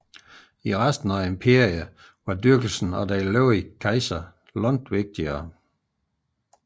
I resten af imperiet var dyrkelsen af den levende kejser langt vigtigere